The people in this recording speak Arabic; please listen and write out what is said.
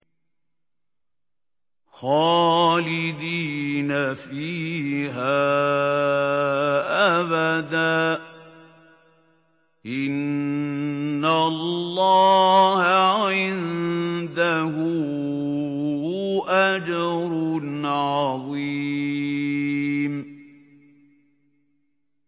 خَالِدِينَ فِيهَا أَبَدًا ۚ إِنَّ اللَّهَ عِندَهُ أَجْرٌ عَظِيمٌ